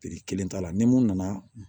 kelen t'a la ni mun nana